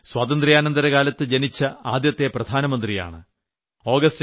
ഞാനാണെങ്കിൽ സ്വാതന്ത്ര്യാനന്തര കാലത്ത് ജനിച്ച ആദ്യത്തെ പ്രധാനമന്ത്രിയാണ്